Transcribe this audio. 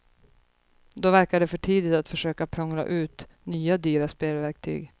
Då verkar det för tidigt att försöka prångla ut nya dyra spelverktyg.